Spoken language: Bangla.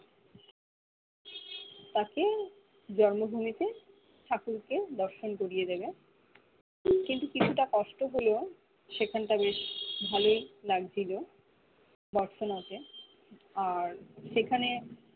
তাতে জন্ম ভূমিতে ঠাকুরকে দর্শন করিয়ে দিবে কিন্তু কিছুটা কষ্ট হলেও সেখান টা বেশ ভালোই লাগছিলো বর্ষনাতে আর সেখানে